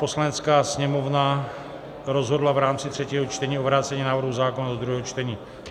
Poslanecká sněmovna rozhodla v rámci třetího čtení o vrácení návrhu zákona do druhého čtení.